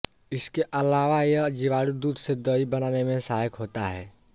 इसके अलावा यह जीवाणु दूध से दही बनाने में सहायक होता है